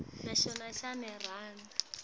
sikhiphe kube kanye